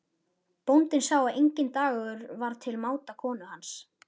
Bóndinn sá að enginn dagur var til máta konu hans.